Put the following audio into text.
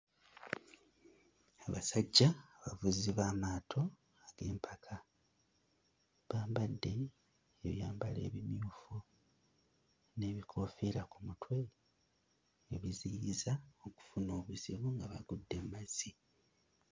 Abasajja abavuzi b'amaato ag'empaka bambadde ebyambalo ebimyufu n'ebikoofiira ku mutwe ebiziyiza okufuna obuzibu nga bagudde mu mazzi.